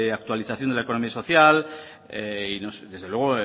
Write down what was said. actualización de economía social y desde luego